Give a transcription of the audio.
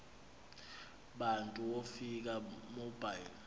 bantu wofika bobile